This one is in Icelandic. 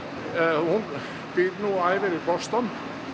hún býr nú og æfir í Boston